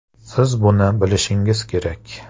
Siz buni bilishingiz kerak!.